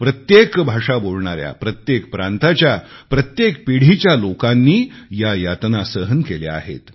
प्रत्येक भाषा बोलणाऱ्या प्रत्येक प्रांताच्या प्रत्येक पिढीच्या लोकांनी या यातना सहन केल्या आहेत